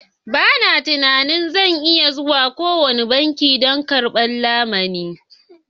Ba na tunanin zan iya zuwa kowane banki don karɓan lamuni.